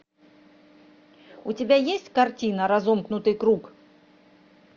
у тебя есть картина разомкнутый круг